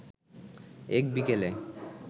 এক বিকেলে